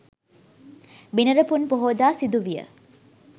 බිනර පුන් පොහෝදා සිදු විය